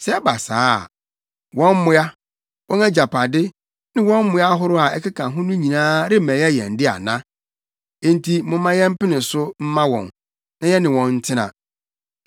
Sɛ ɛba saa a, wɔn mmoa, wɔn agyapade ne wɔn mmoa ahorow a ɛkeka ho no nyinaa remmɛyɛ yɛn de ana? Enti momma yɛmpene so mma wɔn, na yɛne wɔn ntena.”